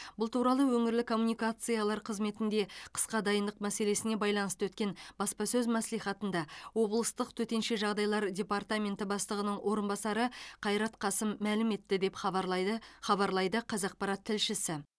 бұл туралы өңірлік коммуникациялар қызметінде қысқа дайындық мәселесіне байланысты өткен баспасөз мәслихатында облыстық төтенше жағдайлар департаменті бастығының орынбасары қайрат қасым мәлім етті деп хабарлайды хабарлайды қазақпарат тілшісі